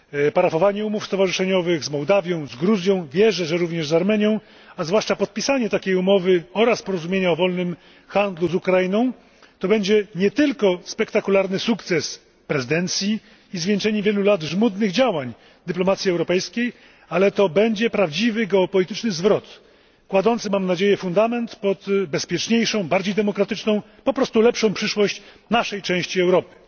Parafowanie umów stowarzyszeniowych z Mołdawią, z Gruzją, wierzę, że również z Armenią, a zwłaszcza podpisanie takiej umowy oraz porozumienia o wolnym handlu z Ukrainą to będzie nie tylko spektakularny sukces prezydencji i zwieńczenie wielu lat żmudnych działań dyplomacji europejskiej, ale to będzie prawdziwy geopolityczny zwrot, kładący, mam nadzieję, fundament pod bezpieczniejszą, bardziej demokratyczną, po prostu lepszą przyszłość naszej części Europy.